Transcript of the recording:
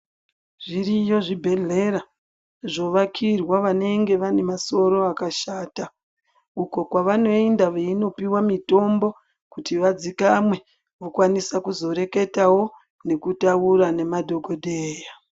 Zviriyo zvibhedhlera zvovakirwa vanenge vane masoro akashata uko kwavanoenda kopiwa mitombo kuti wadzikame walwanisawo kuzoreketawo nekutaura nemadhokodheya